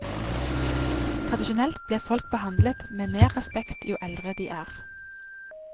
Tradisjonelt blir folk behandlet med mer respekt jo eldre de er.